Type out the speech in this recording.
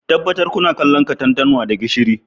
Tabbatar kuna kallon katantanwa da gishiri